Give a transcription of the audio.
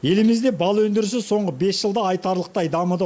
елімізде бал өндірісі соңғы бес жылда айтарлықтай дамыды